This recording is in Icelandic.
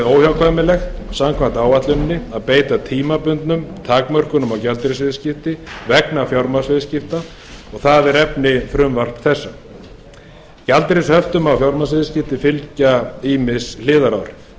óhjákvæmilegt samkvæmt áætluninni að beita tímabundnum takmörkunum á gjaldeyrisviðskipti vegna fjármagnsviðskipta sem er efni frumvarps þessa gjaldeyrishöftum á fjármagnsviðskipti fylgja ýmis neikvæð hliðaráhrif því er